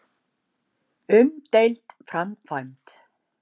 Umdeild framkvæmd.